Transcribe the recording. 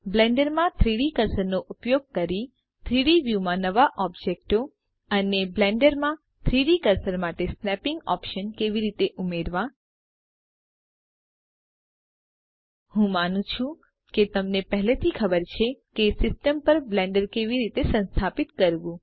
બ્લેન્ડરમાં 3ડી કર્સરનો ઉપયોગ કરી 3ડી વ્યુમાં નવા ઓબ્જેક્ટો અને બ્લેન્ડરમાં 3ડી કર્સર માટે સ્નેપીંગ ઓપ્શન કેવી રીતે ઉમેરવા હું માનું છુ કે તમને પહેલેથી ખબર છે કે સિસ્ટમ પર બ્લેન્ડર કેવી રીતે સંસ્થાપિત કરવું